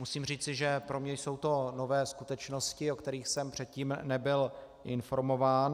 Musím říci, že pro mě jsou to nové skutečnosti, o kterých jsem předtím nebyl informován.